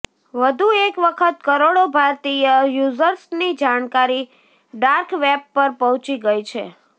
વધુ એક વખત કરોડો ભારતીય યૂઝર્સની જાણકારી ડાર્ક વેબ પર પહોંચી ગઇ છે